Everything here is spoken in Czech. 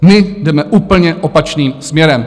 My jdeme úplně opačným směrem.